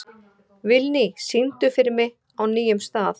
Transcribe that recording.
Vilný, syngdu fyrir mig „Á nýjum stað“.